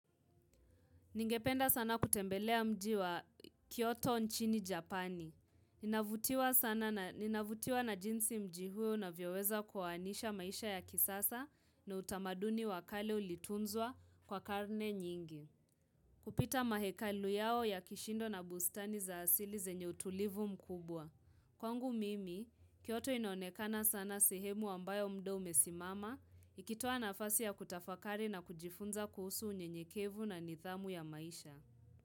Ningependa sana kutembelea mji wa Kyoto nchini Japani. Ninavutiwa na jinsi mji huu unavyoweza kwaanisha maisha ya kisasa na utamaduni wakale ulitunzwa kwa karne nyingi. Kupita mahekalu yao ya kishindo na bustani za asili zenye utulivu mkubwa. Kwangu mimi, kioto inonekana sana sehemu ambayo muda umesimama, ikitua na afasi ya kutafakari na kujifunza kuhusu unyenyekevu na nidhamu ya maisha.